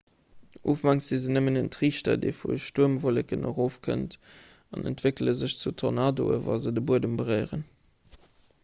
ufanks si se nëmmen en triichter dee vu stuermwolleken erofkënnt an entwéckele sech zu tornadoen wa se de buedem beréieren